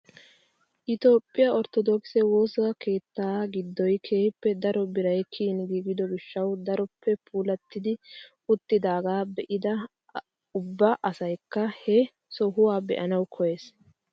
Itoophphiyaa orttodokise woossa keettaa giddoy kehippe daro biray kiyin giigido gishshawu daroppe puulatti uttidagaa dbe'idi ubba asaykka he sohuwaa be'anawu koyees!